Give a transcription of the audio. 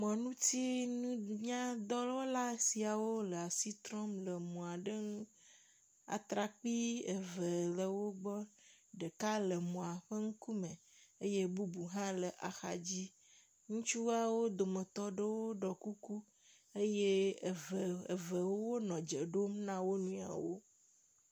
Mɔŋutinunya dɔwɔla siawo le asi trɔm le mɔ aɖe ŋu. Atrakpui eve le wo gbɔ. Ɖeka le mɔa ƒe ŋkume eye bubu hã le axadzi. Ŋutsuawo dometɔ ɖewo ɖɔ kuku eve eve wonɔ dze ɖom na wonuiwo.